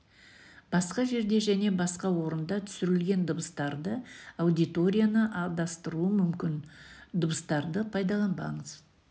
басқа жерде және басқа орында түсірілген дыбыстарды аудиторияны адастыруы мүмкін дыбыстарды пайдаланбаңыз